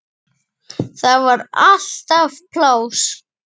Þar var alltaf pláss.